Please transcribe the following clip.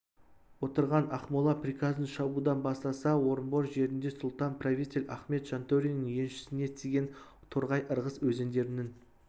отырған ақмола приказын шабудан бастаса орынбор жерінде сұлтан-правитель ахмет жантөриннің еншісіне тиген торғай ырғыз өзендерінің